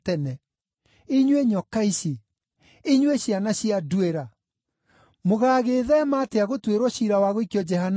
“Inyuĩ nyoka ici! Inyuĩ ciana cia nduĩra! Mũgaagĩtheema atĩa gũtuĩrwo ciira wa gũikio Jehanamu?